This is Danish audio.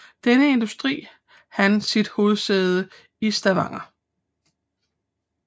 Denne industri han sit hovedsæde i Stavanger